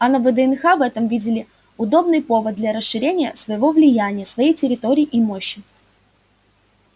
а на вднх в этом видели удобный повод для расширения своего влияния своей территории и мощи